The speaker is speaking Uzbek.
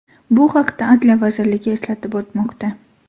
Bu haqda Adliya vazirligi eslatib o‘tmoqda .